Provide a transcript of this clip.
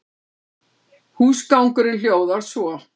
Húsgangurinn hljóðar svo